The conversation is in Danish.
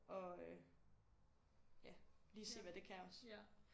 Og øh ja lige se hvad det kan også